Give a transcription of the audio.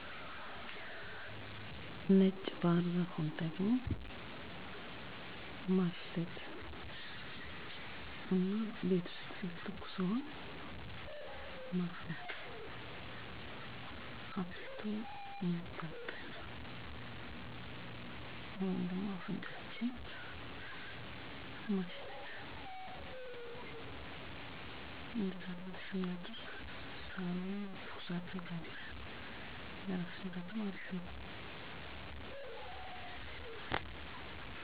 ለሳል ህመም የሚውል ጥቁር አቦሲዳ, ለሳል ነጭ ባህርዛፍ ,ለእራስ ህመም ዳማካሴ። ጥቁር አቦሲዳን እና ዳማካሴን በትኩስ ነገር መጠጣት።